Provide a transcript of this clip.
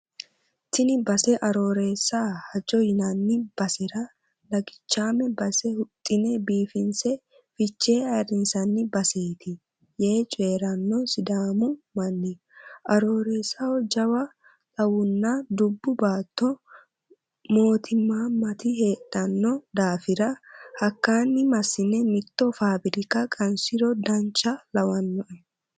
Tini base Aroorreessa Majo yinanni basera lagichame base huxxine biifinse fichee ayirrinsanni baseti yee coyirano sidaamu manni aroorreessaho jawa xawunna dubbu baatto mootimamati heedhano daafira hakkani massine mitto fabirika qansiro dancha lawanoe.